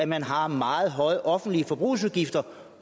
man har meget høje offentlige forbrugsudgifter